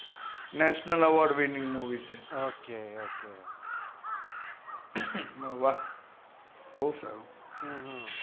national award winning movie છે okay મેં કીધું વાહ્હ